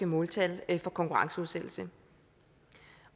måltal for konkurrenceudsættelse